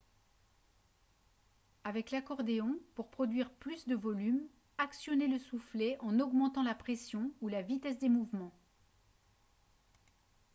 avec l'accordéon pour produire plus de volume actionnez le soufflet en augmentant la pression ou la vitesse des mouvements